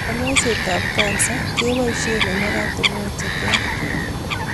Konyoisiet ab kansa koboisie en oratunwek cheterter